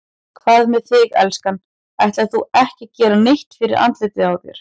Hvað með þig, elskan. ætlar þú ekki að gera neitt fyrir andlitið á þér?